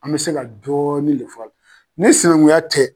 An bɛ se ka dɔɔnin de f'a la. Ni sinankunya tɛ